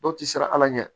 Dɔw ti siran ala ɲɛ